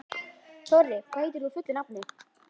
Þorri, hvað heitir þú fullu nafni?